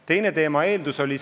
Teine põhjus on veel olnud.